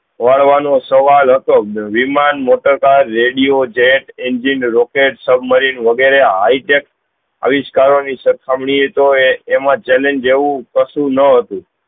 વળવાનું સવાલ હતો વિમાન motor car radio jet engine rocket submarine વગેરે high tech આવીશ્કારો ની સખામની એ તો એમાં challenge એવું કશું ન હતું